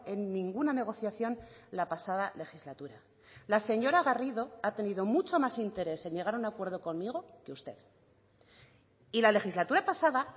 en ninguna negociación la pasada legislatura la señora garrido ha tenido mucho más interés en llegar a un acuerdo conmigo que usted y la legislatura pasada